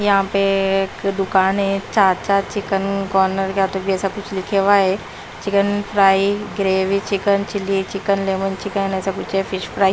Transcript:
यहां पे दुकान है चाचा चिकन कॉर्नर क्या तो ऐसा कुछ लिखा हुआ है chicken fry gravy chicken chilli chicken lemon chicken ऐसा कुछ है फिश फ्राई --